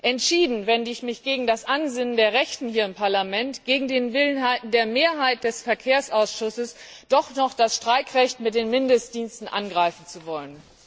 Entschieden wende ich mich gegen das Ansinnen der Rechten hier im Parlament, gegen den Willen der Mehrheit des Verkehrsausschusses doch noch das Streikrecht mit den Mindestdiensten angreifen zu wollen.